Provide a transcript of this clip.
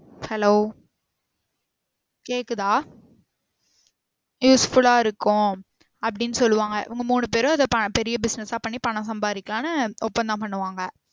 Hello கேக்குதா useful ஆ இருக்கும் அப்டின்னு சொல்லுவாங்க இவங்க மூணு பெரும் அத பெரிய business ஆ பண்ணி பணம் சம்பாரிக்கலாம்னு ஒப்பந்தம் பண்ணுவாங்க